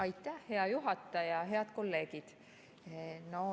Aitäh, hea juhataja ja head kolleegid!